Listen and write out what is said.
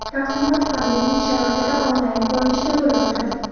Taqdimot pandemiya sharoitida onlayn ko‘rinishida bo‘lib o‘tadi.